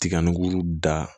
Tiga nugu da